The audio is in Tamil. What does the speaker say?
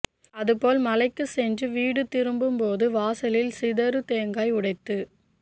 அதுபோல் மலைக்கு சென்று வீடு திரும்பும்போதும் வாசலில் சிதறு தேங்காய் உடைத்து